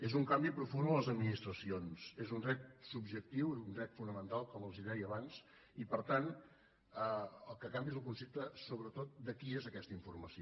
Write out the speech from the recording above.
és un canvi profund a les administracions és un dret subjectiu un dret fonamental com els deia abans i per tant el que canvia és el concepte sobretot de qui és aquesta informació